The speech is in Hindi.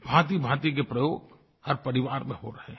भांतिभांति के प्रयोग हर परिवार में हो रहे हैं